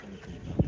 Bu, belə də.